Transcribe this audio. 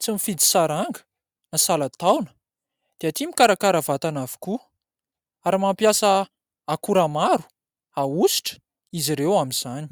tsy mifidy saranga na salan-taona dia tia mikarakara vatana avokoa, ary mampiasa akora maro ahositra izy ireo amin'izany.